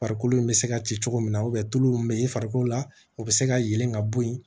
Farikolo in bɛ se ka ci cogo min na tulu min bɛ i farikolo la u bɛ se ka yɛlɛn ka bɔ yen